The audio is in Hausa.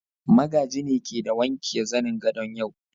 Magaji ne ke de wanke zanen gadon yau.